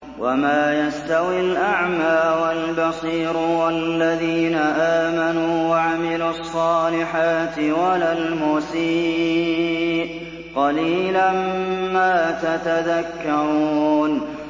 وَمَا يَسْتَوِي الْأَعْمَىٰ وَالْبَصِيرُ وَالَّذِينَ آمَنُوا وَعَمِلُوا الصَّالِحَاتِ وَلَا الْمُسِيءُ ۚ قَلِيلًا مَّا تَتَذَكَّرُونَ